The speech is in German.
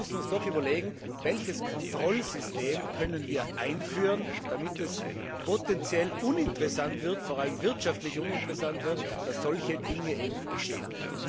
Aber wir müssen uns doch überlegen, welches Kontrollsystem wir einführen können, damit es potenziell uninteressant wird, vor allem wirtschaftlich uninteressant wird, dass solche Dinge geschehen.